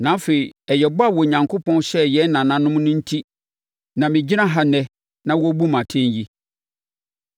Na afei ɛyɛ bɔ a Onyankopɔn hyɛɛ yɛn nananom no enti na megyina ha ɛnnɛ na wɔrebu me atɛn yi.